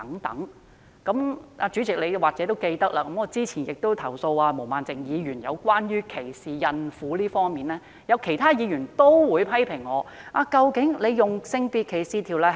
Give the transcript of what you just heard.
代理主席，你或許記得，我曾投訴毛孟靜議員歧視孕婦，但有議員批評我是否正確引用《性別歧視條例》？